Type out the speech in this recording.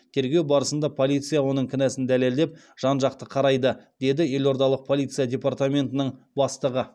тергеу барысында полиция оның кінәсін дәлелдеп жан жақты қарайды деді елордалық полиция департаментінің бастығы